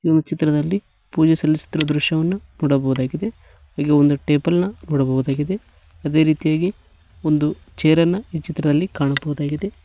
ಈ ಒಂದು ಚಿತ್ರದಲ್ಲಿ ಪೂಜೆ ಸಲ್ಲಿಸುತ್ತಿರುವ ದೃಶ್ಯವನ್ನು ನೋಡಬಹುದಾಗಿದೆ ಹಾಗೆ ಒಂದು ಟೇಬಲ್ ನ ನೋಡಬಹುದಾಗಿದೆ ಅದೇ ರೀತಿಯಾಗಿ ಒಂದು ಚೇರನ್ನ ಈ ಚಿತ್ರದಲ್ಲಿ ಕಾಣಬಹುದಾಗಿದೆ.